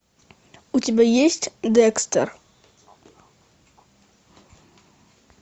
у тебя есть декстер